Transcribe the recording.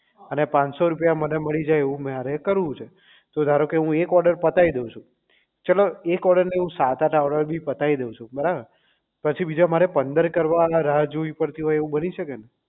અને પાંનસો રૂપિયા મને મળી જાય મારે એવું કરવું છે તો ધારોકે હું એક order પતાવી દઉં છું ચલો એક order નહીં હું સાત આઠ order બી પતાઈ દઉં છું બરાબર પછી બીજા મારે પંદર કરવાના રાહ જોવી પડે એવું બની શકે ને